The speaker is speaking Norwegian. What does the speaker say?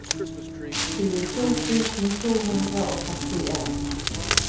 tjueto tusen to hundre og førtien